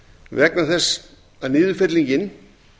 vegna þess að niðurfellingin